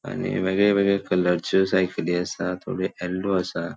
आणि वेगळे वेगळे कलरच्यो सायकली असा थोड़े येल्लो असा.